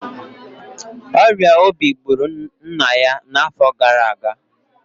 ọrịa obi gburu nna ya n'afọ gara aga